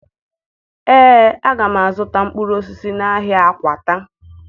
Ee, aga m azụta mkpụrụ osisi n'ahịa Akwata